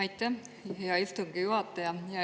Aitäh, hea istungi juhataja!